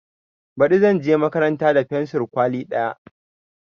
Baɗi zanje makaranta da fensur kwali ɗaya